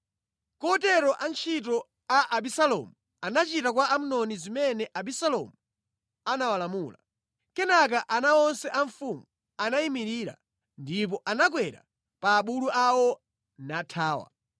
Kotero antchito a Abisalomu anachita kwa Amnoni zimene Abisalomu anawalamula. Kenaka ana onse a mfumu anayimirira ndipo anakwera pa abulu awo nathawa.